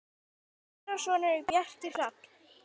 Þeirra sonur er Bjarki Hrafn.